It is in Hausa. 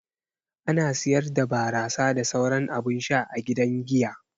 Ana siyar da barasa da sauran abun sha a gidan giya.